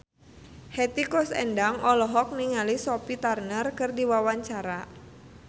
Hetty Koes Endang olohok ningali Sophie Turner keur diwawancara